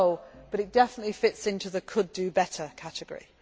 had failed. It has not, but it definitely fits into the could do better'